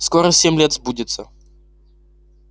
скоро семь лет сбудется